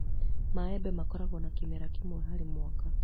Maembe makoragwo na kĩmera kĩmwe harĩ mwaka.